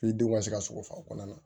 denw ka se ka sɔgɔsɔgɔ kɔnɔna na